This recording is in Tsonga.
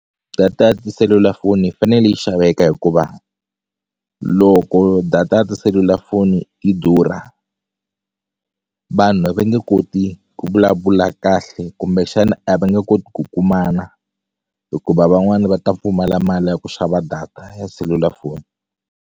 Data ya tiselulafoni yi fanele yi xaveka hikuva loko data ya tiselulafoni yi durha vanhu a va nge koti ku vulavula kahle kumbexani a va nge koti ku kumana hikuva van'wani va ta pfumala mali ya ku xava data ya selulafoni.